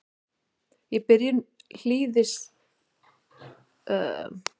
Í byrjun hlýskeiðanna breiddust fyrst birki og einir og síðan fura út.